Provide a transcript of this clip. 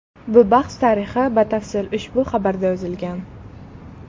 Bu bahs tarixi batafsil ushbu xabarda yozilgan.